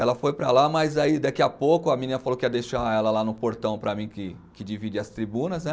Ela foi para lá, mas aí daqui a pouco a menina falou que ia deixar ela lá no portão para mim, que que divide as tribunas, né.